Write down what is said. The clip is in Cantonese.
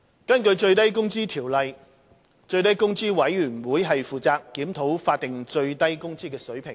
根據《最低工資條例》，最低工資委員會負責檢討法定最低工資水平。